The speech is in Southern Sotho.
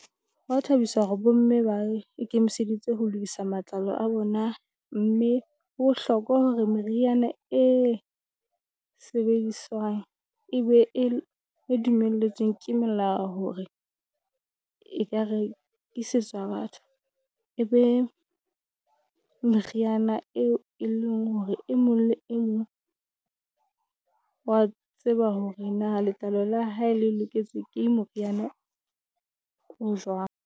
Hwa thabisa hore bo mme ba ikemiseditse ho lokisa matlalo a bona, mme ho bohlokwa hore meriana e sebediswang e be e dumeletsweng ke melao hore e rekisetswa batho. E be meriana eo e leng hore e mong le e mong wa tseba hore na letlalo la hae le loketse ke moriana o